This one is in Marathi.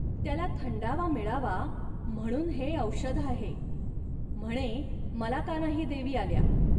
त्याला थंडावा मिळावा, म्हणून हे औषध आहे. म्हणे, मला का नाही देवी आल्या